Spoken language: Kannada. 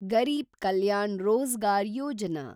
ಗರೀಬ್ ಕಲ್ಯಾಣ ರೋಜಗಾರ್ ಯೋಜನಾ